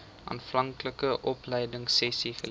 aanvanklike opleidingsessies geleer